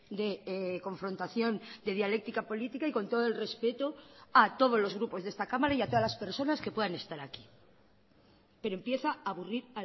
de confrontación de dialéctica política y con todo el respeto a todos los grupos de esta cámara y a todas las personas que puedan estar aquí pero empieza a aburrir